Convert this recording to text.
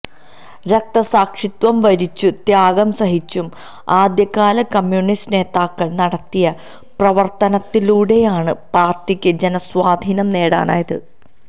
രക്തസാക്ഷിത്വം വരിച്ചും ത്യാഗം സഹിച്ചും ആദ്യകാല കമ്യൂണിസ്റ്റ് നേതാക്കള് നടത്തിയ പ്രവര്ത്തനത്തിലൂടെയാണ് പാര്ട്ടിക്ക് ജനസ്വാധീനം നേടാനായത്